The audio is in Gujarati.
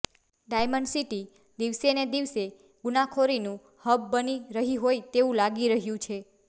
ડાયમન્ડ સીટી દિવસેને દિવસે ગુનાખોરીનું હબ બની રહી હોય તેવું લાગી રહ્યું છે